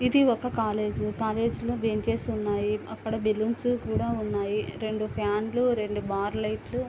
ఇది ఒక college .college లో బెంచెస్ ఉన్నాయి. అక్కడ బెలూన్స్ కూడా ఉన్నాయి. రెండు ఫ్యాన్లు రెండు బార్ లైట్లు --.